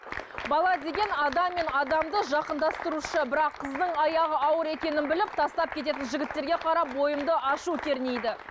бала деген адам мен адамды жақындастырушы бірақ қыздың аяғы ауыр екенін біліп тастап кететін жігіттерге қарап бойымды ашу кернейді